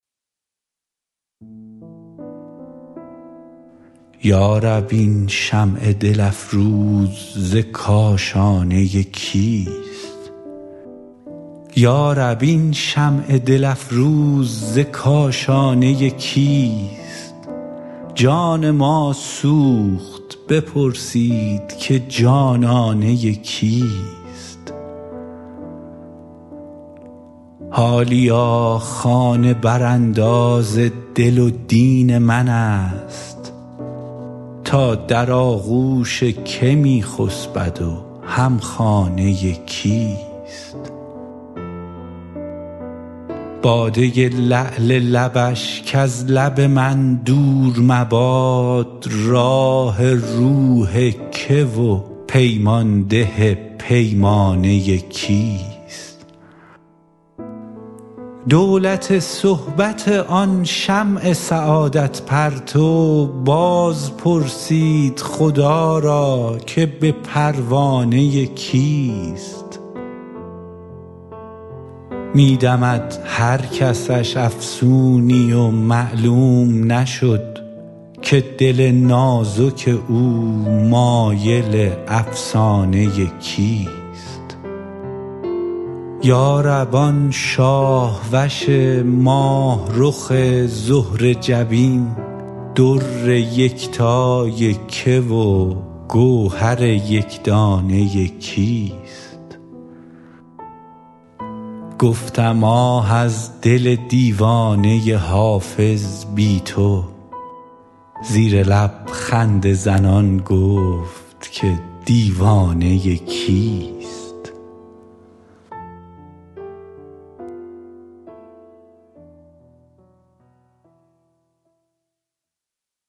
یا رب این شمع دل افروز ز کاشانه کیست جان ما سوخت بپرسید که جانانه کیست حالیا خانه برانداز دل و دین من است تا در آغوش که می خسبد و هم خانه کیست باده لعل لبش کز لب من دور مباد راح روح که و پیمان ده پیمانه کیست دولت صحبت آن شمع سعادت پرتو باز پرسید خدا را که به پروانه کیست می دهد هر کسش افسونی و معلوم نشد که دل نازک او مایل افسانه کیست یا رب آن شاه وش ماه رخ زهره جبین در یکتای که و گوهر یک دانه کیست گفتم آه از دل دیوانه حافظ بی تو زیر لب خنده زنان گفت که دیوانه کیست